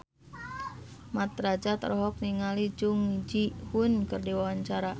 Mat Drajat olohok ningali Jung Ji Hoon keur diwawancara